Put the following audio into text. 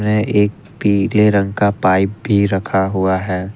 में एक पीले रंग का पाइप पी रखा हुआ है।